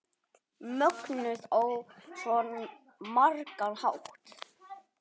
Mögnuð á svo margan hátt.